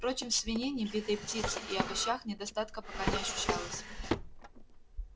впрочем в свинине битой птице и овощах недостатка пока не ощущалось